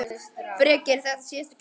Breki: Er þetta síðasta gjöfin?